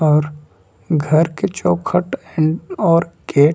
और घर के चौखट एंड और गेट --